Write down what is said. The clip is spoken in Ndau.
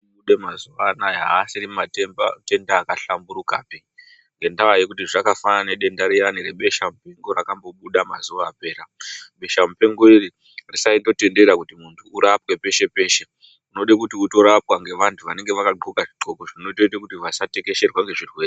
Matenda emazuva anaya haasisiri matenda akahlamburikapi, ngendava yekuti zvakafanana nedenda riyani rebeshamupengo rakambobuda mazuva apera aya. Beshamupengo iri risaitotendera kuti muntu urapwe peshe peshe. Unode kuti utorapwa ngevantu vanenge vakaxoka zvidxoko zvekuti vasatekesherwa ngezvirwere.